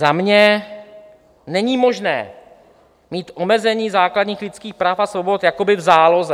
Za mě: Není možné mít omezení základních lidských práv a svobod jakoby v záloze.